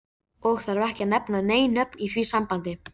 Og þarf ekki að nefna nein nöfn í því sambandi.